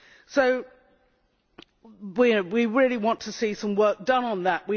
So we really want to see some work done on that.